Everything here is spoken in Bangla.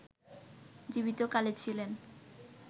জীবিত কালে ছিলেন